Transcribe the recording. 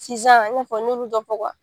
Sinsan i n'a fɔ n y'olu dɔ fɔ wa